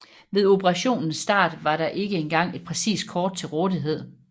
Ved operationens start var der ikke engang et præcist kort til rådighed